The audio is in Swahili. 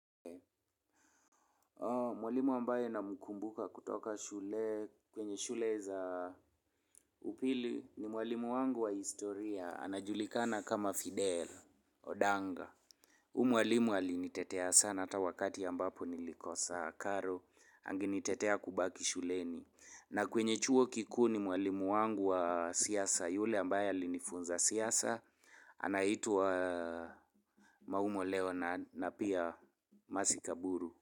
Mwalimu ambaye namkumbuka kutoka shule, kwenye shule za upili, ni mwalimu wangu wa historia, anajulikana kama Fidel, odanga. Huyu mwalimu alinitetea sana ata wakati nilikosa karo alinitetea kubaki shuleni. Na kwenye chuo kikuu ni mwalimu wangu wa siasa, yule ambaye alinifunza siasa, anaitwa maumo leo na pia mercy kaburu.